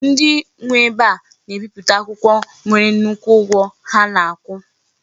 Ndi nwe ebe a na-ebiputa akwukwo nwere nnukwu ugwo ha na-akwu.